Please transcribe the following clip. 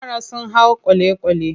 Yara sun hau kwale-kwale.